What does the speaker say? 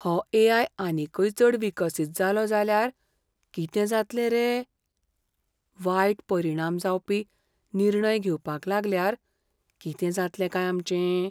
हो ए.आय. आनीकय चड विकसीत जालो जाल्यार कितें जातलें रे? वायट परिणाम जावपी निर्णय घेवपाक लागल्यार कितें जातलें काय आमचें?